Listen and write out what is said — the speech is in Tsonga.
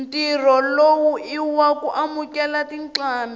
ntirho lowu iwaku amukela tincambi